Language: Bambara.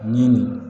Ni nin